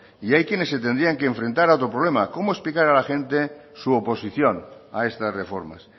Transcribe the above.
y hay quienes se tendrían que enfrentar a otro problema cómo explicar a la gente su oposición a estas reformas